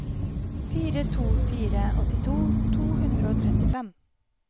fire to fire to åttito to hundre og trettifem